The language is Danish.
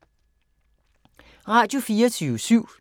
Radio24syv